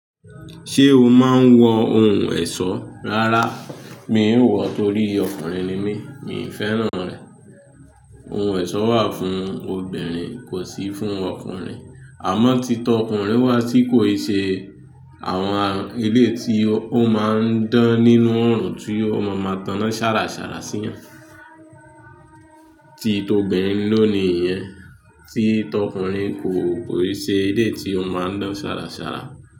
Ṣé o máa ń wọ ohun ẹ̀ṣọ́? Rárá, mi ò wọ̀ torí ọkùnrin ni mí, mi fẹ́ràn rẹ̀. Ohun ẹ̀ṣọ́ wà fún obìnrin kò sì fún ọkùnrin. Àmọ́ tí tọkùnrin wá tí kò ṣe àwọn ilé tí ó máa ń dán nínú ọ̀ràn tí ó máa máa tana śàràṣàrà sí wọn, tí tobinrin ló ni ìyẹn, tí tọkùnrin kò ṣe ilé tí ó máa ń dán śàràṣàrà.